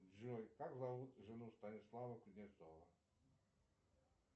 джой как зовут жену станислава кузнецова